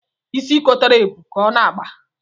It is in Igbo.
Isi kotara ebu ka ọ na-agba